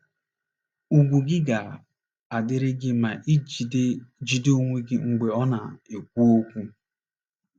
Ùgwù gị ga - adịrị gị ma i jide jide onwe gị mgbe ọ na - ekwu okwu.